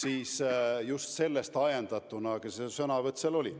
Aga just sellest ajendatuna see sõnavõtt seal oli.